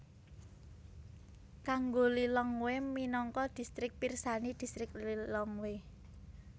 Kanggo Lilongwe minangka distrik pirsani Distrik Lilongwe